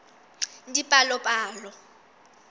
dipalopalo